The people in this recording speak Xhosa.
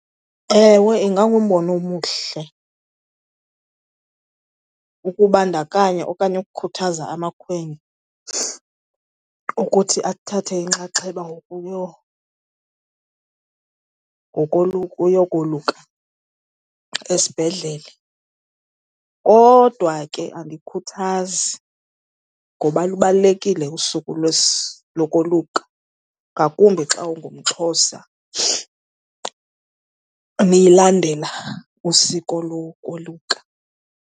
Ewe, ingangumbono omhle ukubandakanya okanye ukukhuthaza amakhwenkwe ukuthi athathe inxaxheba uyokoluka esibhedlele. Kodwa ke andiyikhuthazi ngoba lubalulekile usuku lokoluka, ngakumbi xa ungumXhosa nilandela usiko lokoluka.